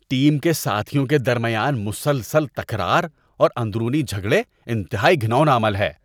Team کے ساتھیوں کے درمیان مسلسل تکرار اور اندرونی جھگڑے انتہائی گھناؤنا عمل ہے۔